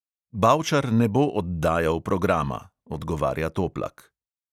"Bavčar ne bo oddajal programa," odgovarja toplak.